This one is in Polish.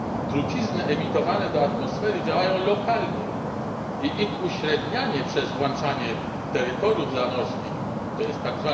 Trucizny emitowane do atmosfery działają lokalnie i ich uśrednianie przez włączanie terytoriów zamorskich, tj.